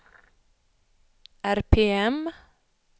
RPM